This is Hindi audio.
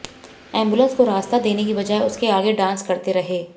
एम्बुलेंस को रास्ता देने की बजाय उसके आगे डांस करते रहे